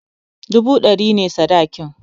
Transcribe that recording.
Dubu ɗari ne sadakin